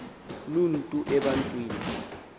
loo nto ebantwini